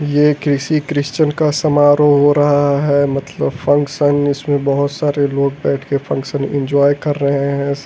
ये किसी क्रिश्चन का समारोह हो रहा है मतलब फंक्शन इसमें बहुत सारे लोग बैठ के फंक्शन एंजॉय कर रहे हैं।